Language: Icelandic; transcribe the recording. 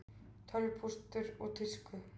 Tölvupóstur úr tísku